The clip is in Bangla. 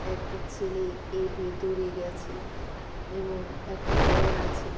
একটি ছেলে এর ভেতরে গেছে এবং একটি ব্যাগ আছে।